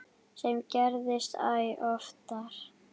Sem gerist æ oftar.